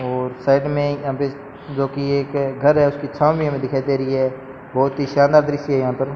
और साइड में यहां पे जोकि एक घर है उसकी छाव मे हमें दिखाई दे री है बहोत ही शानदार दृश्य है यहां पर।